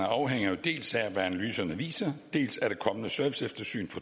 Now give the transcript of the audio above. afhænger dels af hvad analyserne viser dels af det kommende serviceeftersyn